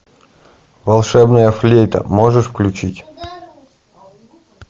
волшебная флейта можешь включить